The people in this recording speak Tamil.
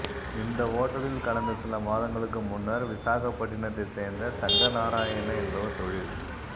இந்த ஓட்டலில் கடந்த சில மாதங்களுக்கு முன்னர் விசாகப்பட்டினத்தை சேர்ந்த சங்கர்நாராயணா என்பவர் தொழில்